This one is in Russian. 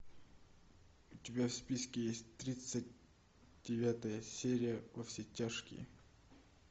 у тебя в списке есть тридцать девятая серия во все тяжкие